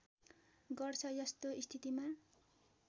गर्छ यस्तो स्थितिमा